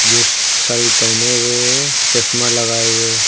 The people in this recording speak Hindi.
जो सल्ट पहने हुए है चश्मा लगाए हुए है।